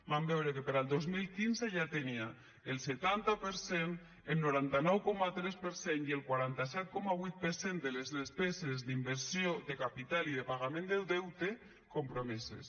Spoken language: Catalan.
vam veure que per al dos mil quinze ja tenia el setanta per cent el noranta nou coma tres per cent i el quaranta set coma vuit per cent de les despeses d’inversió de capital i de pagament del deute compromeses